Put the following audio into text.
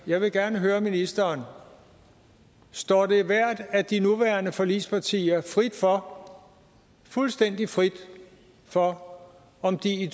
jeg vil gerne høre ministeren står det hvert af de nuværende forligspartier frit for fuldstændig frit for om de i